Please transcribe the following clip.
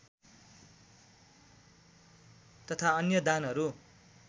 तथा अन्य दानहरू